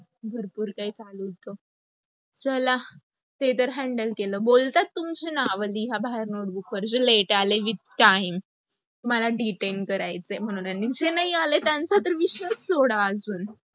भरपूर काही चालू होत. चला, ते तर handle केल, बोलतात तुमचे नाव लिहा बाहेर notebook वर जे late आले with time. तुम्हाला detain करायच आहे म्हणून. आणि जे आले नाहीत आलेत त्यांच तर विषयच सोडा अजून.